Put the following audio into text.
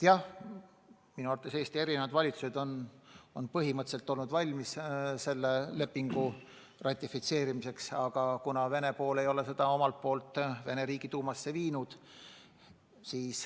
Jah, minu arvates Eesti eri valitsused on põhimõtteliselt olnud valmis seda lepingut ratifitseerima, aga Vene pool ei ole seda Riigiduumasse viinud.